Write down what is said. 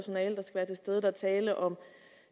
stede der er tale om